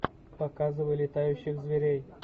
показывай летающих зверей